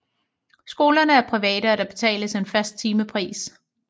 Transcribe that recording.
Skolerne er private og der betales en fast timepris